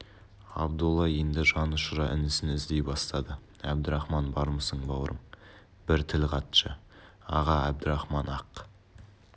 абдолла енді жанұшыра інісін іздей бастады әбдірахман бармысың бауырым бір тіл қатшы аға әбдірахман ақ